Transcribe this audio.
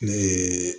Ne ye